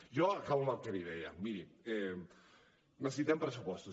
jo acabo amb el que li deia miri necessitem pressupostos